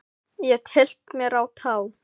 Og ég tyllti mér á tá.